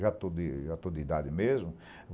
Já estou de, já estou de idade mesmo.